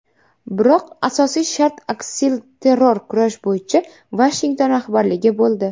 Biroq asosiy shart aksilterror kurash bo‘yicha Vashington rahbarligi bo‘ldi.